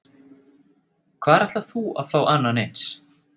Hvar ætlar þú að fá annan eins?